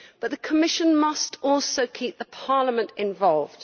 The Commission must also keep Parliament involved.